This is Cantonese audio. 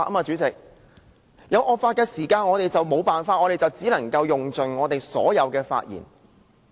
在面對惡法時，我們別無他法，只能盡用我們所有的發言時間。